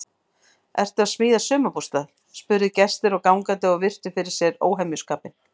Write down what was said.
Ertu að smíða sumarbústað? spurðu gestir og gangandi og virtu fyrir sér óhemjuskapinn.